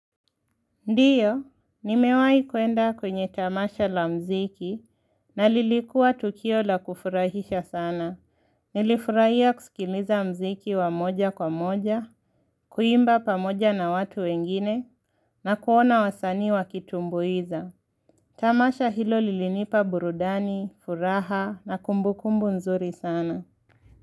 Ndio, nimewahi kuenda kwenye tamasha la muziki na lilikuwa tukio la kufurahisha sana. Nilifurahia kusikiliza muziki wa moja kwa moja, kuimba pamoja na watu wengine, na kuona wasanii wakitumbuiza. Tamasha hilo lilinipa burudani, furaha na kumbukumbu nzuri sana.